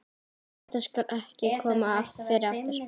Þetta skal ekki koma fyrir aftur.